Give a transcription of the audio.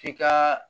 F'i ka